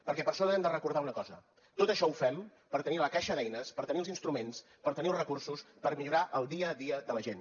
perquè per això hem de recordar una cosa tot això ho fem per tenir la caixa d’eines per tenir els instruments per tenir els recursos per millorar el dia a dia de la gent